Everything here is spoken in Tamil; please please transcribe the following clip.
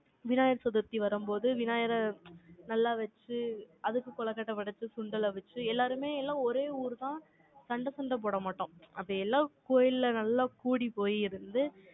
விநாயகர் சதுர்த்தி வரும்போது, விநாயகரை நல்லா வச்சு, அதுக்கு கொழுக்கட்டை படைச்சு, சுண்டலை வச்சு, எல்லாருமே எல்லாம் ஒரே ஊர்தான் சண்டை சண்டை போட மாட்டோம். அப்படி எல்லாம், கோயில்ல நல்லா கூடிப்போயி இருந்து,